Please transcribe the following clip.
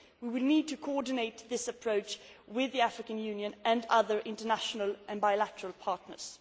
We will need to coordinate this approach with the African Union and other international and bilateral partners.